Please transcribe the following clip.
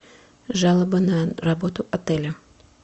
жалоба на работу отеля